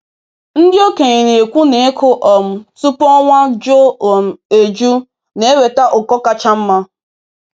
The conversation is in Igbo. Ndị okenye na-ekwu na ịkụ um tupu ọnwa juo um eju na-eweta ụkọ kacha mma.